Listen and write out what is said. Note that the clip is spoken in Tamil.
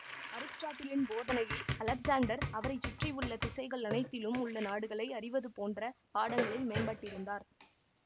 அரிஸ்டாட்டிலின் போதனையில் அலெக்சாண்டர் அவரை சுற்றியுள்ள திசைகள் அனைத்திலும் உள்ள நாடுகளை அறிவது போன்ற பாடங்களில் மேம்பட்டிருந்தார்